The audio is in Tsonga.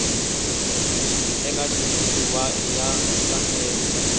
eka xitshuriwa i ya nkhaqato